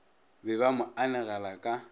be ba mo anegela ka